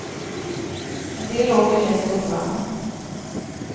En del åker häst och vagn.